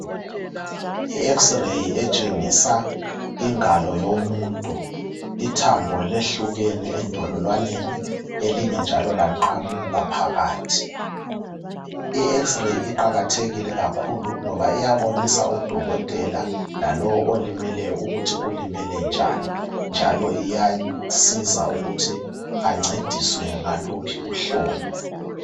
I Ex ray etshengisa ingalo yomuntu ithambo lehlukene endololwaneni elinye njalo laqamuka phakathi.I ex ray iqakathekile kakhulu ngoba iyabonisa udokotela lalowo olimeleyo ukuthi ulimele njani njalo iyasiza ukuthi ancediswe ngaluphi uhlobo.